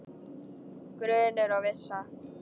Grunur og vissa